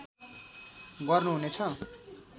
गर्नु हुनेछ